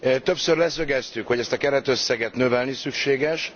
Többször leszögeztük, hogy ezt a keretösszeget növelni szükséges.